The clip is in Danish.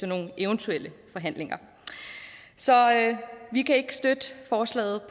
nogle eventuelle forhandlinger så vi kan ikke støtte forslaget